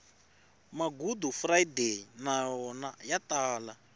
magudufurayideyi na wona ya ta